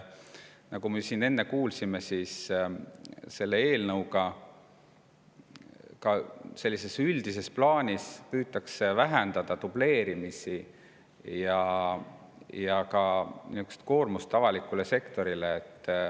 Nagu me siin enne kuulsime, selle eelnõuga püütakse üldises plaanis vähendada dubleerimist ja ka koormust avalikule sektorile.